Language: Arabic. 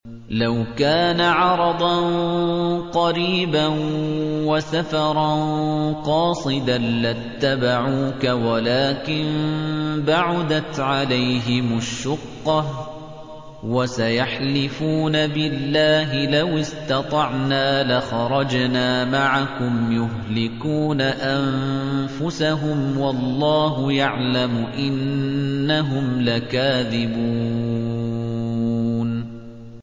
لَوْ كَانَ عَرَضًا قَرِيبًا وَسَفَرًا قَاصِدًا لَّاتَّبَعُوكَ وَلَٰكِن بَعُدَتْ عَلَيْهِمُ الشُّقَّةُ ۚ وَسَيَحْلِفُونَ بِاللَّهِ لَوِ اسْتَطَعْنَا لَخَرَجْنَا مَعَكُمْ يُهْلِكُونَ أَنفُسَهُمْ وَاللَّهُ يَعْلَمُ إِنَّهُمْ لَكَاذِبُونَ